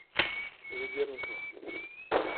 ведерникова